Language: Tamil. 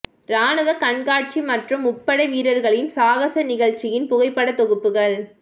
ராணுவ கண்காட்சி மற்றும் முப்படை வீரர்களின் சாகச நிகழ்ச்சியின் புகைப்படத் தொகுப்புகள்